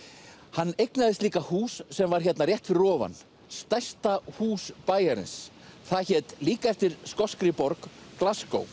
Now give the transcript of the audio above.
hann eignaðist líka hús sem var hérna rétt fyrir ofan stærsta hús bæjarins það hét líka eftir skoskri borg